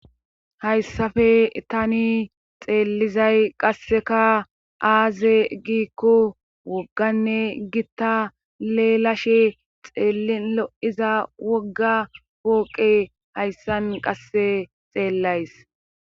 Hayssappe tani xeellizay qassekka aaze giikko wogganne gitta leelashshe xeelin lo'iza wogga worqe hayssan qasse xeellays